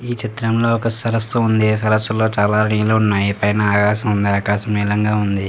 ఈ చిత్రం లో ఒక సరసు ఉంది. సరస్సులో చాలా నీళ్లు ఉన్నాయి. పైన ఆకాశం ఉంది. ఆకాశం నీలంగా ఉంది.